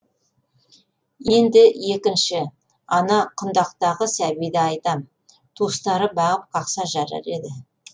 енді екінші ана құндақтағы сәбиді айтам туыстары бағып қақса жарар еді